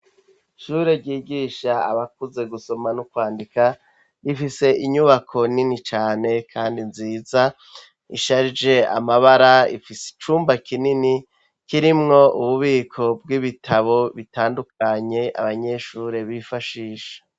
Ishure ryigisha abakuze gusoma no kwandika rifise inyubako nini cane kandi nziza isharije amabara ifise icumba kinini kirimwo ububiko bw'ibitabo bitandukanye abanyeshure bifashisha.